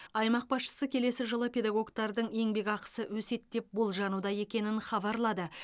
аймақ басшысы келесі жылы педагогтардың еңбек ақысы өседі деп болжануда екенін хабарлады